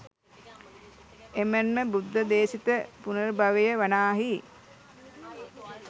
එමෙන්ම බුද්ධ දේශිත පුනර්භවය වනාහි